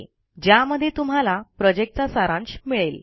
ज्यामध्ये तुम्हाला प्रॉजेक्टचा सारांश मिळेल